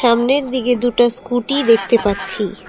সামনের দিকে দুটা স্কুটি দেখতে পাচ্ছি।